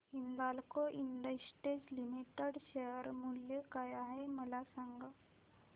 Hindalco industries limited share मूल्य काय आहे मला सांगा